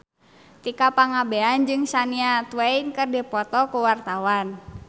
Tika Pangabean jeung Shania Twain keur dipoto ku wartawan